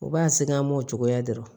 U b'a segin an m'o cogoya dɔrɔn